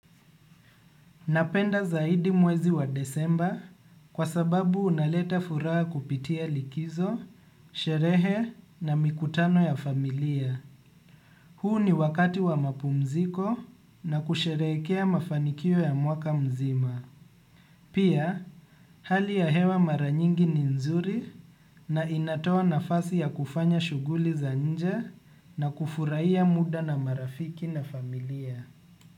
Napenda zaidi mwezi wa desemba kwa sababu unaleta furaha kupitia likizo, sherehe na mikutano ya familia. Huu ni wakati wa mapumziko na kusherehekea mafanikio ya mwaka mzima. Pia, hali ya hewa mara nyingi ni nzuri na inatoa nafasi ya kufanya shughuli za nje na kufurahia muda na marafiki na familia.